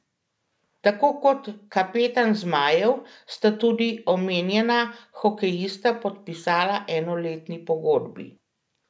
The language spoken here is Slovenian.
Tako kot kapetan zmajev sta tudi omenjena hokejista podpisala enoletni pogodbi.